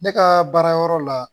Ne ka baarayɔrɔ la